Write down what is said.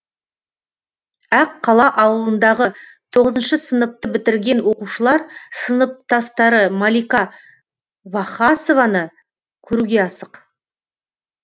ақ қала ауылындағы тоғызыншы сыныпты бітірген оқушылар сыныптастары малика вахасованы көруге асық